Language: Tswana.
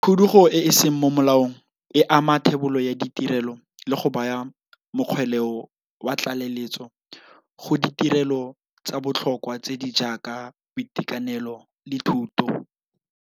Khudugo e e seng mo molaong e ama thebolo ya ditirelo le go baya mokgweleo wa tlaleletso go ditirelo tsa botlhokwa tse di jaaka boitekanelo le thuto.